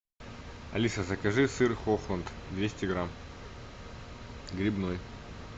алиса закажи сыр хохланд двести грамм грибной